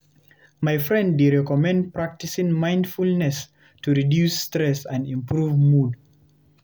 My friend dey recommend practicing mindfulness to reduce stress and improve mood.